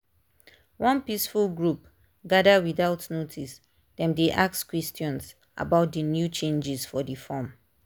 one peaceful group gather without notice dem dey ask questions about the new changes for the form.